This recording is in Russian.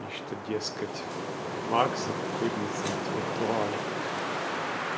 и что дескать вакс это кузница интеллектуалов